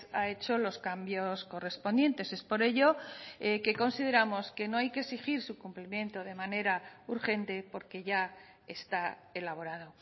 ha hecho los cambios correspondientes es por ello que consideramos que no hay que exigir su cumplimento de manera urgente porque ya está elaborado